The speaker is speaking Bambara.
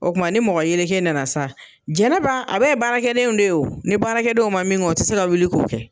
O kuma ni mɔgɔ yeleke nana sa jɛnɛba, a bɛ ye baarakɛdenw de ye, ni baarakɛdenw ma min kɛ, u ti se ka wuli k'o kɛ.